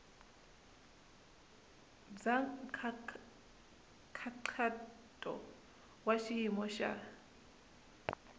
bya nkhaqato wa xiyimo xa